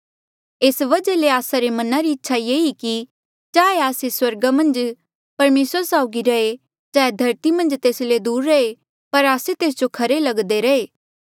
ऐस वजहा ले आस्सा रे मना री इच्छा ये ई कि चाहे आस्से स्वर्गा मन्झ परमेसरा साउगी रहे चाहे धरती मन्झ तेस ले दूर रहे पर आस्से तेस जो खरे लगदे रहे